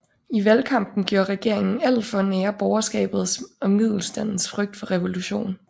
I valgkampen gjorde regeringen alt for at nære borgerskabets og middelstandens frygt for revolution